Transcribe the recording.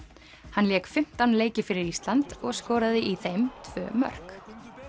hann lék fimmtán leiki fyrir Ísland og skoraði í þeim tvö mörk